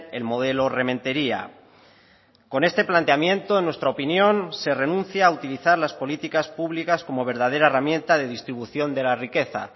el modelo rementeria con este planteamiento en nuestra opinión se renuncia a utilizar las políticas públicas como verdadera herramienta de distribución de la riqueza